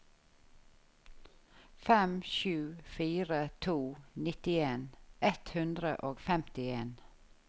fem sju fire to nittien ett hundre og femtien